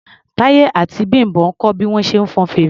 Táyọ̀ àti Bím̀bọ́ ń kọ́ bí wọ́n ṣe ń fọn fèrè.